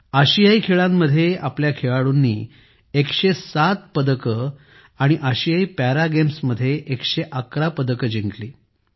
आशियाई खेळांमध्ये आमच्या खेळाडूंनी 107 पदके आणि आशियाई पॅरा गेम्समध्ये 111 पदके जिंकली